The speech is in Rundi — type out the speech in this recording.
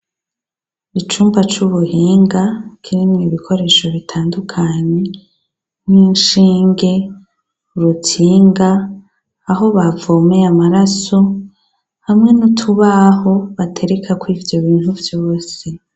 Icumba cubuhinga kirimwo ibikoresho bitandukanye nkishinge urutsinga aho bavomeye amaraso hamwe nutubaho baterekamwo ivyobintu vyose